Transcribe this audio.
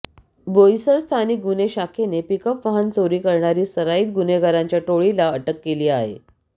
बोईसर स्थानिक गुन्हे शाखेने पिकअप वाहन चोरी करणारी सराईत गुन्हेगारांच्या टोळीला अटक केली आहे